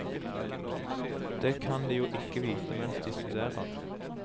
Det kan de jo ikke vite mens de studerer.